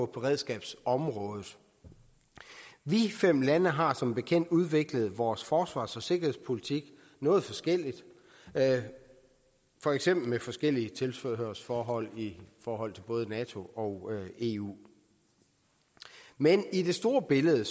beredskabsområdet vi fem lande har som bekendt udviklet vores forsvars og sikkerhedspolitik noget forskelligt for eksempel med forskellige tilhørsforhold i forhold til både nato og eu men i det store billede